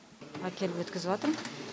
әкеліп өткізватырм